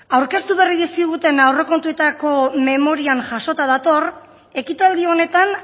aurkeztu berri dizkiguten aurrekontuetako memorian jasota dator ekitaldi honetan